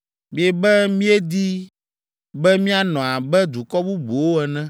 “ ‘Miebe míedi be míanɔ abe dukɔ bubuwo ene,